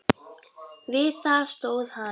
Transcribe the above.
Við það stóð hann.